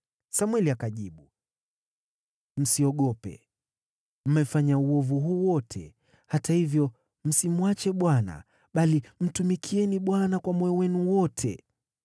Samweli akajibu, “Msiogope, mmefanya uovu huu wote; hata hivyo msimwache Bwana , bali mtumikieni Bwana kwa moyo wenu wote.